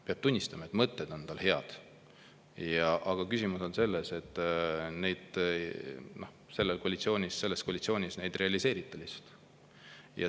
Peab tunnistama, et mõtted on tal head – aga küsimus on selles, et neid selles koalitsioonis lihtsalt ei realiseerita.